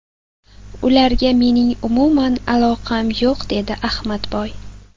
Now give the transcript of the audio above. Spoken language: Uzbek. Ularga mening umuman aloqam yo‘q”, dedi Ahmadboy.